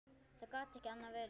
Það gat ekki annað verið.